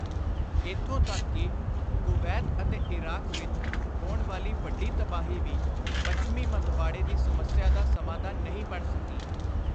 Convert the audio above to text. ਇਥੋਂ ਤਕ ਕਿ ਕੁਵੈਤ ਅਤੇ ਇਰਾਕ ਵਿਚ ਹੋਣ ਵਾਲੀ ਵੱਡੀ ਤਬਾਹੀ ਵੀ ਪੱਛਮੀ ਮੰਦਵਾੜੇ ਦੀ ਸਮੱਸਿਆ ਦਾ ਸਮਾਧਾਨ ਨਹੀਂ ਬਣ ਸਕੀ।